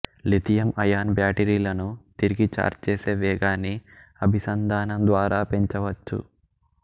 lithium ion బ్యాటరీలను తిరిగి charge చేసే వేగాన్ని అభిసంధానం ద్వారా పెంచవచ్చు